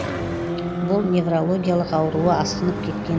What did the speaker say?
бұл неврологиялық ауруы асқынып кеткен